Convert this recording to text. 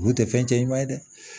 Kun tɛ fɛn cɛ ɲuman ye dɛ